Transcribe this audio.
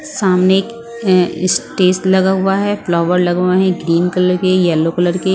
सामने एक अं स्टेज लगा हुआ है फ्लावर लगा हुआ है ग्रीन कलर के येलो कलर के --